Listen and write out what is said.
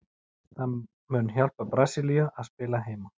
Það mun hjálpa Brasilíu að spila heima.